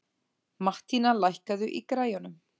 Mattína, lækkaðu í græjunum.